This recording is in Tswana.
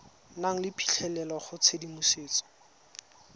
nang le phitlhelelo go tshedimosetso